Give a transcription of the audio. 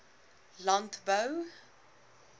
landbou